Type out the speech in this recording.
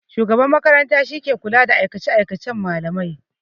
Shugaban makaranta shike kula da aikace-aikacen malamai.